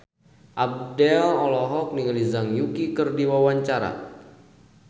Abdel olohok ningali Zhang Yuqi keur diwawancara